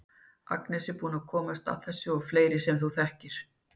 Agnes er búin að komast að þessu og fleiri sem hún þekkir.